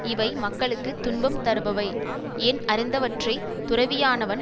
இவை மக்களுக்கு துன்பம் தருபவை என் அறிந்தவற்றை துறவியானவன்